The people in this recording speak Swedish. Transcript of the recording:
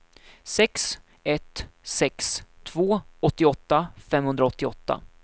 sex ett sex två åttioåtta femhundraåttioåtta